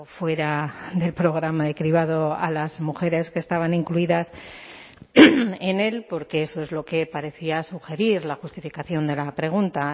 fuera del programa de cribado a las mujeres que estaban incluidas en el porque eso es lo que parecía sugerir la justificación de la pregunta